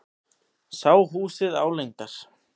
Sá húsið álengdar.